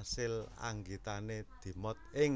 Asil anggitane dimot ing